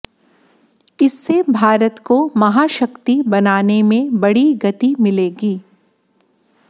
इससे भारत को महाशक्ति बनाने में बड़ी गति मिलेगी